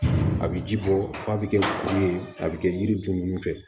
A bɛ ji bɔ f'a bɛ kɛ kuru ye a bɛ kɛ yiri dun fɛ